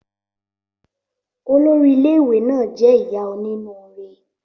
Olórí ilé ìwé náà jẹ́ ìyá onínúre